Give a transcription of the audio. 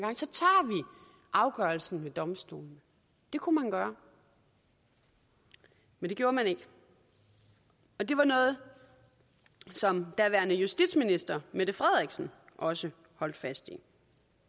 afgørelsen ved domstolene det kunne man gøre men det gjorde man ikke det var noget som daværende justitsminister mette frederiksen også holdt fast i